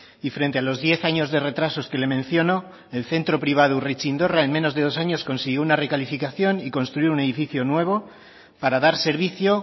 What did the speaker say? y frente a los diez años de retrasos que le menciono el centro privado urretxindorra en menos de dos años consiguió una recalificación y construyó un edificio nuevo para dar servicio